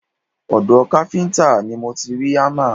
Ọ̀dọ̀ káfíńtà ni mo ti rí hámà